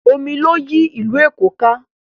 Omi ló yí ìlú Èkó ká.